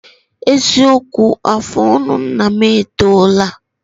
Eziokwu, afụ ọnụ nna m etoola